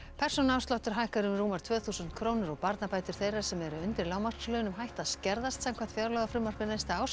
persónuafsláttur hækkar um rúmar tvö þúsund krónur og barnabætur þeirra sem eru undir lágmarkslaunum hætta að skerðast samkvæmt fjárlagafrumvarpi næsta árs